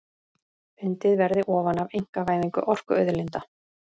Undið verði ofan af einkavæðingu orkuauðlinda